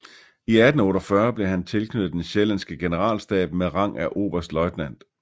I 1848 blev han tilknyttet den sjællandske generalstab med rang af oberstløjtnant